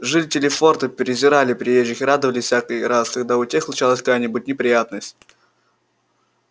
жители форта презирали приезжих и радовались всякий раз когда у тех случалась какая-нибудь неприятность